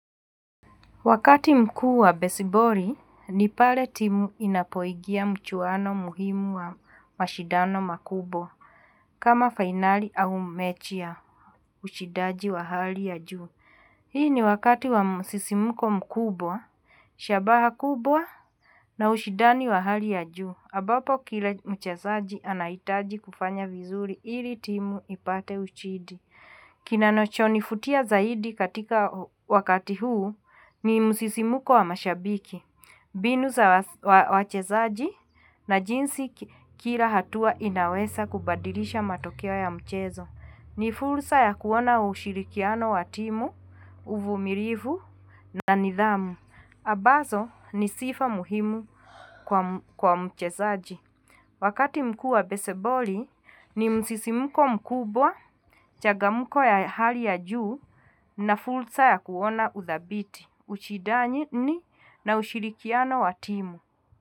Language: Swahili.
Wakati mkuu wa besiboli ni pale timu inapoingia mchuwano muhimu wa mashindano makubwa kama fainali au mechi ya ushindaji wa hali ya juu. Hii ni wakati wa msisimko mkubwa, shabaha kubwa na ushindani wa hali ya juu. Ambapo kila mchezaji anahitaji kufanya vizuri ili timu ipate ushindi. Kinachonivutia zaidi katika wakati huu ni msisimko wa mashabiki, mbinu za wachezaji na jinsi kila hatua inaweza kubadilisha matokeo ya mchezo. Ni fursa ya kuona ushirikiano wa timu, uvumilivu na nidhamu. Ambazo ni sifa muhimu kwa mchezaji. Wakati mkuu wa besiboli ni msisimko mkubwa, changamko ya hali ya juu na fursa ya kuona uthabiti, ushindani na ushirikiano wa timu.